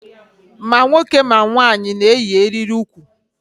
Ma nwoke ma nwanyị na-eyi eriri ukwu.